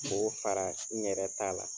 K'o fara n yɛrɛ ta la.